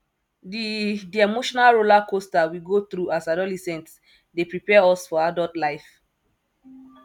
di di emotional rollercoaster we go through as adolescents dey prepare us for adult life